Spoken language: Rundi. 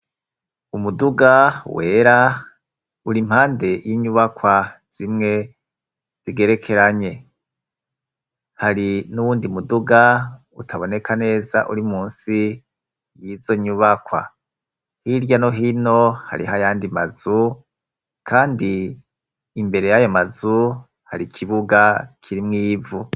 Umuduga wera uri mpande y'inyubakwa zimwe zigerekeranye. Hari n'uwundi muduga utaboneka neza uri munsi y'izo nyubakwa. Hirya no hino hariho ayandi mazu kandi imbere y'ayo mazu hari ikibuga kirimwo ivu.